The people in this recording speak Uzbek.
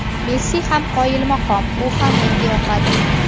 Messi ham qoyilmaqom, u ham menga yoqadi.